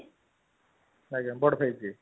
ଆଜ୍ଞା ବଡ ଭାଇ ଯିଏ